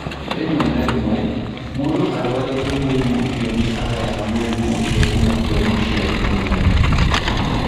Rĩmwe na rĩmwe, mũndũ ũrũarĩte mũrimũ ũcio nĩ agayaga mũrimũ ũcio kuuma kũrĩ mũciari ũmwe.